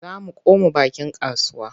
Za mu koma bakin kasuwa.